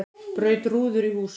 Braut rúður í húsum